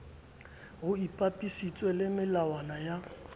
ho ipapisitswe le melawana ya